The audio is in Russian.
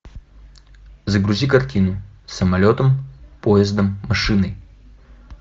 загрузи картину самолетом поездом машиной